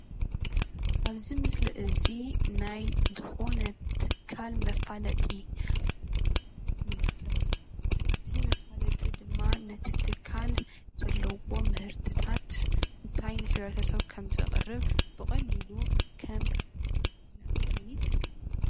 ኣብዚ ምስሊ እዚ ናይ ብኡነት ትካል መፋለጢ ንምልከት፡፡ እቲ መፋለጢ ድማ ነቲ ትካል ዘለዎ ምህርትታት እንታይ ንሕ/ሰብ ከምዘቕርብ ብቐሊሉ ከም መፍለጢ ኮይኑ ይጠቅም፡፡